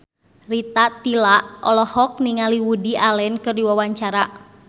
Rita Tila olohok ningali Woody Allen keur diwawancara